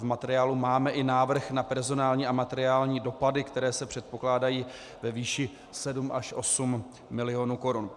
V materiálu máme i návrh na personální a materiální dopady, které se předpokládají ve výši 7 až 8 milionů korun.